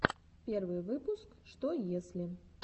первый выпуск что если